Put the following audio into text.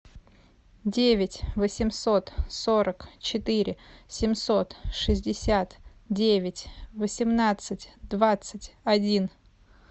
девять восемьсот сорок четыре семьсот шестьдесят девять восемнадцать двадцать один